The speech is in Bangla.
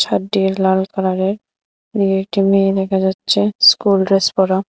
লাল কালারের দিয়ে একটি মেয়ে দেখা যাচ্ছে স্কুল ড্রেস পরা।